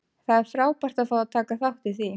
Það er frábært að fá að taka þátt í því.